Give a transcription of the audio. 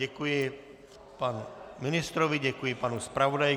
Děkuji panu ministrovi, děkuji panu zpravodaji.